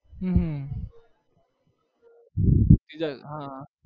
હમ હમ હા